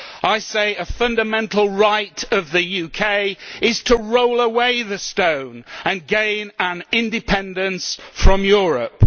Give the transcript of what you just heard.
I say a fundamental right of the UK is to roll away this stone and gain independence from Europe.